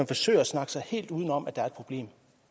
forsøger at snakke sig helt udenom at der er et problem